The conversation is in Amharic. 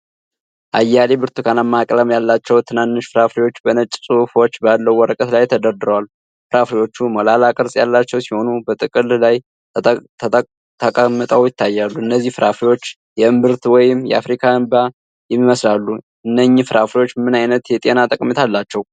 አያሌ ብርቱካናማ ቀለም ያላቸው ትናንሽ ፍራፍሬዎች በነጭ ጽሑፎች ባለው ወረቀት ላይ ተደርድረዋል። ፍራፍሬዎቹ ሞላላ ቅርጽ ያላቸው ሲሆን፣ በጥቅል ላይ ተቀምጠው ይታያሉ። እነዚህ ፍራፍሬዎች የእምብርት ወይም የአፍሪካ እንባ ይመስላሉ፤ እነኝህ ፍራፍሬዎች ምን አይነት የጤና ጠቀሜታ አላቸው?